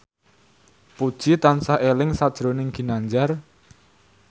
Puji tansah eling sakjroning Ginanjar